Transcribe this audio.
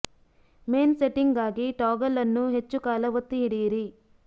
main setting ಗಾಗಿ toggle ಅನ್ನು ಹೆಚ್ಚು ಕಾಲ ಒತ್ತಿ ಹಿಡಿಯಿರಿ